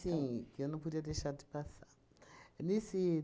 que eu não podia deixar de passar. Nesse